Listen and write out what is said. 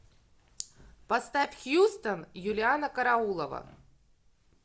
поставь хьюстон юлианна караулова